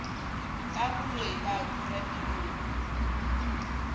ka boloi ba kura melomo